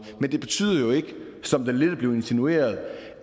men det betyder jo ikke som det lidt er blevet insinueret